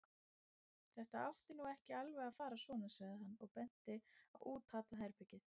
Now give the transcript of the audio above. Þetta átti nú ekki alveg að fara svona, sagði hann og benti á útatað herbergið.